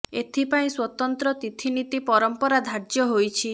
ଏଥି ପାଇଁ ସ୍ବତନ୍ତ୍ର ତିଥି ନୀତି ପରମ୍ପରା ଧାର୍ଯ୍ୟ ହୋଇଛି